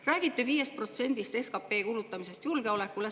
Räägite 5% SKP-st kulutamisest julgeolekule.